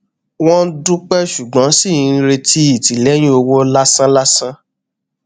wọn dúpẹ ṣùgbọn ṣì ń retí ìtìlẹyìn owó lásán lásán